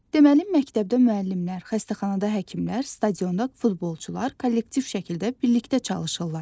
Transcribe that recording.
Deməli məktəbdə müəllimlər, xəstəxanada həkimlər, stadionda futbolçular kollektiv şəkildə birlikdə çalışırlar.